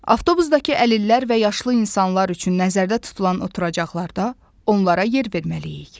Avtobusdakı əlillər və yaşlı insanlar üçün nəzərdə tutulan oturacaqlarda onlara yer verməliyik.